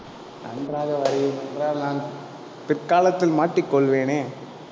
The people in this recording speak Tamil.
நன்றாக வரையுங்கள் என்றால், நான் பிற்காலத்தில் மாட்டிக் கொள்வேனே